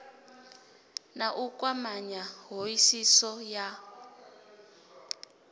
na u kwamanya hoisiso ya